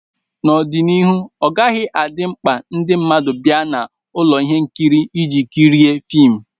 N'ọdịnihu, ọ ọgaghị adị mkpa ndị mmadụ bịa na ụlọ ihe nkiri iji kirie fim